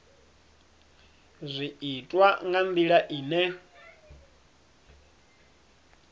zwi itwa nga ndila ine